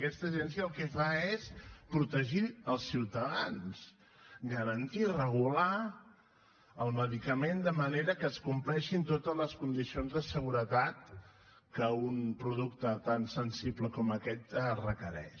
aquesta agència el que fa és protegir els ciutadans garantir i regular el medicament de manera que es compleixin totes les condicions de seguretat que un producte tan sensible com aquest requereix